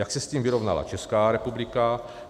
Jak se s tím vyrovnala Česká republika?